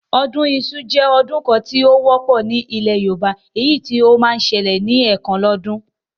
Ọdún iṣu jẹ́ ọdún kan tí ó wọ́pọ̀ ní ilẹ̀ Yorùbá, èyí tí ó máa ń ṣẹlẹ̀ ní ẹ̀kan lọ́dún